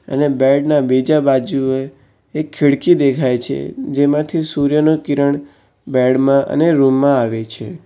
અને બેડ ના બીજા બાજુએ એક ખીડકી દેખાય છે જેમાંથી સૂર્યનું કિરણ બેડ માં અને રૂમ માં આવે છે.